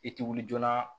I tɛ wuli joona